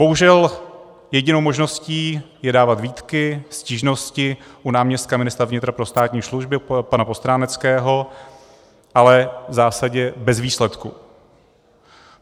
Bohužel jedinou možností je dávat výtky, stížnosti u náměstka ministra vnitra pro státní službu pana Postráneckého, ale v zásadě bez výsledku.